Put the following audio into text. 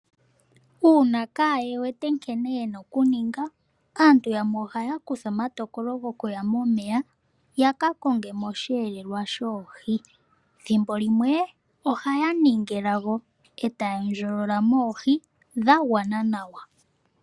Uuna kaa ye wete nkene ye na okuninga, aantu yamwe ohaya kutha omatokolo goku ya momeya ya ka konge mo osheelelwa shoohi. Ethimbo limwe ohaya ningi elago e ta ya ndjolola mo oohi dha gwa na nawa.